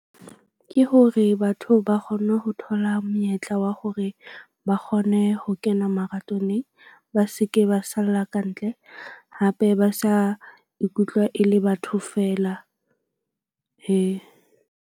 Ke hore batho ba kgonne ho thola monyetla wa hore ba kgone ho kena marathoneng. Ba se ke ba salla kantle hape ba sa ikutlwa e le batho feela .